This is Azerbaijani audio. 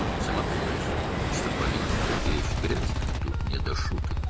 Özün bilirsən ki, siyasət çirkli bir şeydir, burada zarafat deyil.